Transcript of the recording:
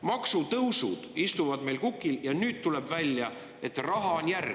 Maksutõusud istuvad meil kukil ja nüüd tuleb välja, et raha on järel!